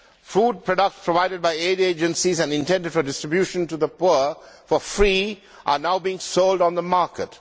Food products provided by aid agencies and intended for distribution to the poor for free are now being sold on the market.